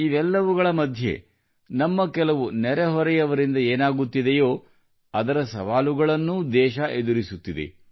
ಇವೆಲ್ಲವುಗಳ ಮಧ್ಯೆ ನಮ್ಮ ಕೆಲವು ನೆರೆಹೊರೆಯವರಿಂದ ಏನಾಗುತ್ತಿದೆಯೋ ಅದರ ಸವಾಲುಗಳನ್ನೂ ದೇಶವು ಎದುರಿಸುತ್ತಿದೆ